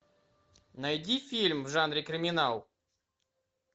найди фильм в жанре криминал